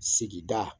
Sigida